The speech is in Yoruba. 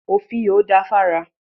Òfìò da fára.